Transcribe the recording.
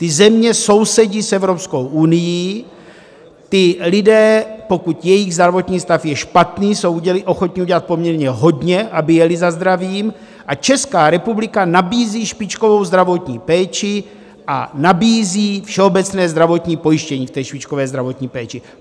Ty země sousedí s Evropskou unií, ti lidé, pokud jejich zdravotní stav je špatný, jsou ochotni udělat poměrně hodně, aby jeli za zdravím, a Česká republika nabízí špičkovou zdravotní péči a nabízí všeobecné zdravotní pojištění k té špičkové zdravotní péči.